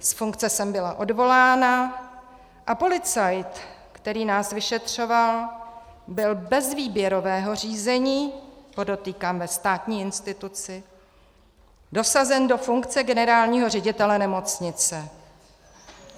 Z funkce jsem byla odvolána a policajt, který nás vyšetřoval, byl bez výběrového řízení - podotýkám ve státní instituci - dosazen do funkce generálního ředitele nemocnice.